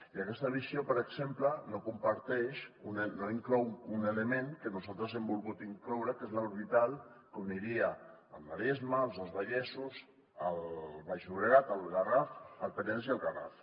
i aquesta visió per exemple no comparteix no inclou un element que nosaltres hem volgut incloure que és l’orbital que uniria el maresme els dos vallesos el baix llobregat el penedès i el garraf